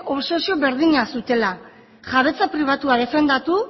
obsesio berdina zutela jabetza pribatua defendatu